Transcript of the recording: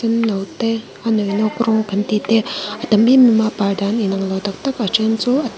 senno te a nawi nawk rawng kan tih te a tam em em a a par dan inang lo taktak a then chu a--